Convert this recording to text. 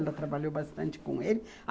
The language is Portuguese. Ela trabalhou bastante com ele.